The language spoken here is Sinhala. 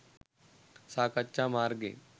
සාකච්ඡා මාර්ගයෙන්